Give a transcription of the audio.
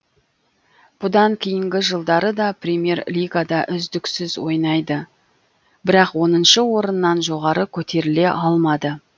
бұдан кейінгі жылдары да премьер лигада үздіксіз ойнайды бірақ оныншы орыннан жоғары көтеріле алмады